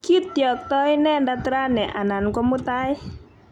Kityaktoi inendet rani anan ko mutai.